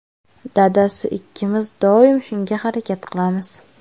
Dadasi ikkimiz doim shunga harakat qilamiz.